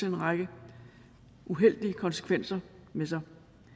en række uheldige konsekvenser med sig